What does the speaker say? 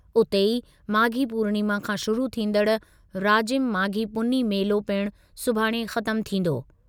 उते ई, माघी पूर्णिमा खां शुरू थींदड़ु राजिम माघी पुन्नी मेलो पिणु सुभाणे ख़त्मु थींदो।